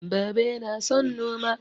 Baba yana son noma